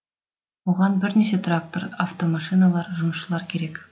оған бірнеше трактор автомашиналар жұмысшылар керек